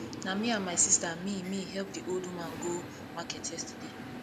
na me and my sista me me help di old woman go market yesterday